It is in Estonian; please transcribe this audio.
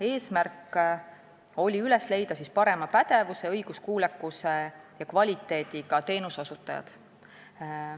Eesmärk oli üles leida parema pädevuse, õiguskuulekuse ja kvaliteediga teenuseosutajad.